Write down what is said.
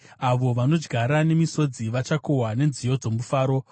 Avo vanodyara nemisodzi vachakohwa nenziyo dzomufaro.